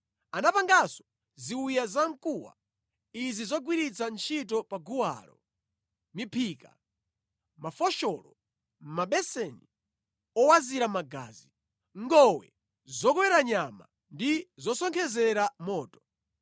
Anapanganso ziwiya zamkuwa izi zogwirira ntchito pa guwalo: miphika, mafosholo, mabeseni owazira magazi, ngowe zokowera nyama ndi zosonkhezera moto.